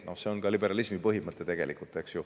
See on tegelikult ju ka liberalismi põhimõte.